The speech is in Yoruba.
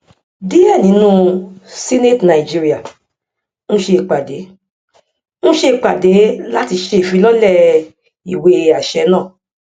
díẹ nínú senate nigeria ń ṣe ìpàdé ń ṣe ìpàdé láti ṣe ìfilọlẹ ìwéàṣẹ náà